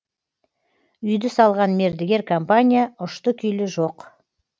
үйді салған мердігер компания ұшты күйлі жоқ